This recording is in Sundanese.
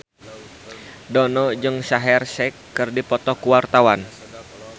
Dono jeung Shaheer Sheikh keur dipoto ku wartawan